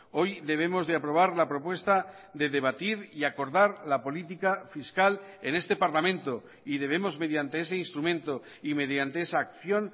hoy debemos de aprobar la propuesta de debatir y acordar la política fiscal en este parlamento y debemos mediante ese instrumento y mediante esa acción